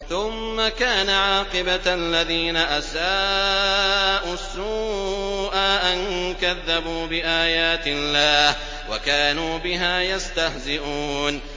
ثُمَّ كَانَ عَاقِبَةَ الَّذِينَ أَسَاءُوا السُّوأَىٰ أَن كَذَّبُوا بِآيَاتِ اللَّهِ وَكَانُوا بِهَا يَسْتَهْزِئُونَ